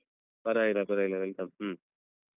ಸರಿ ಪರ್ವಾಗಿಲ್ಲ ಪರ್ವಾಗಿಲ್ಲ welcome ಹ್ಮ್.